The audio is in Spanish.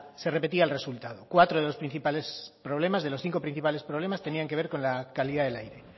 se repetía el resultado cuatro de los principales problemas de los cinco principales problemas tenían que ver con la calidad del aire